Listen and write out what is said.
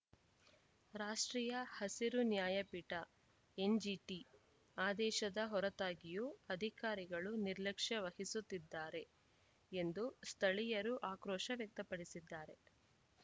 ರಾಷ್ಟ್ರೀಯ ಹಸಿರು ನ್ಯಾಯಪೀಠ ಎನ್‌ಜಿಟಿ ಆದೇಶದ ಹೊರತಾಗಿಯೂ ಅಧಿಕಾರಿಗಳು ನಿರ್ಲಕ್ಷ್ಯ ವಹಿಸುತ್ತಿದ್ದಾರೆ ಎಂದು ಸ್ಥಳೀಯರು ಆಕ್ರೋಶ ವ್ಯಕ್ತಪಡಿಸಿದ್ದಾರೆ